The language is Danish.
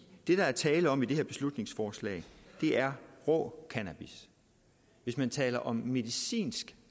det der er tale om i det her beslutningsforslag er rå cannabis hvis man taler om medicinsk